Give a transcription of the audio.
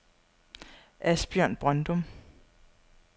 Asbjørn Brøndum